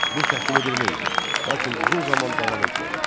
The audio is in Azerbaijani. Bu təkmilləmə idi, lakin uzun zaman davam etmədi.